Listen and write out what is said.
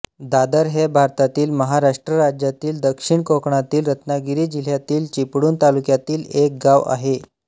दादर हे भारतातील महाराष्ट्र राज्यातील दक्षिण कोकणातील रत्नागिरी जिल्ह्यातील चिपळूण तालुक्यातील एक गाव आहे